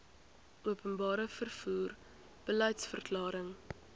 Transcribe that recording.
openbare vervoer beliedsverklaring